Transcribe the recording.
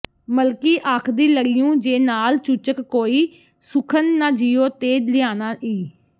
ਮਲਕੀ ਆਖਦੀ ਲੜਿਉਂ ਜੇ ਨਾਲ ਚੂਚਕ ਕੋਈ ਸੁਖਨ ਨਾ ਜਿਊ ਤੇ ਲਿਆਨਾ ਈ